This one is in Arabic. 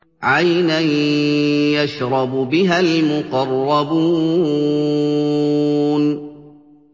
عَيْنًا يَشْرَبُ بِهَا الْمُقَرَّبُونَ